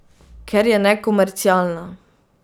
Ker je nekomercialna.